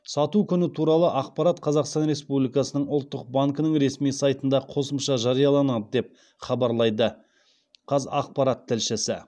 сату күні туралы ақпарат қазақстан республикасының ұлттық банкінің ресми сайтында қосымша жарияланады деп хабарлайды қазақпарат тілшісі